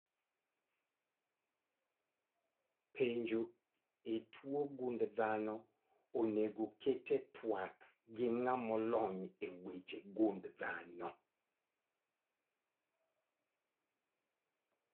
Penjo e tuo gund dhano onego oket e twak gi ng'amolony e weche gund dhano